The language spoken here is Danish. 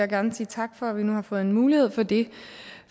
gerne sige tak for at vi nu har fået mulighed for det